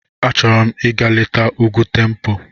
Achọrọ m ịga leta Ugwu Tempo.